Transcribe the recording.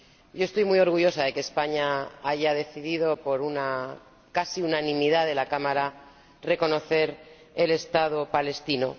Yo estoy muy orgullosa de que España haya decidido por una casi unanimidad de la Cámara reconocer al Estado palestino.